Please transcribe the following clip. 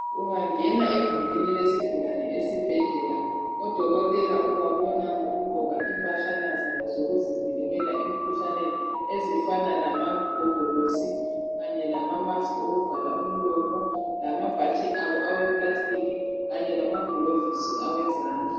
Ungangena egumbini lesigulani esibhedlela odokotela ubabona ngokugqoka impahlana zabo zokuzivikela emkhuhlaneni. Ezifana lamagogolosi, kanye lamamasiki okuvala imilomo, lamabhatshi abo aweplastiki kanye lamaglovisi awezandla.